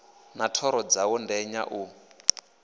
na thoro dzawo ndenya u